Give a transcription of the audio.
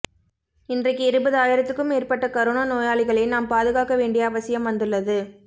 இன்றைக்கு இருபது ஆயிரத்துக்கும் மேற்பட்ட கரோனா நோயாளிகளை நாம் பாதுகாக்க வேண்டிய அவசியம் வந்துள்ளது